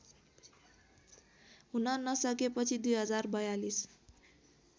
हुन नसकेपछि २०४२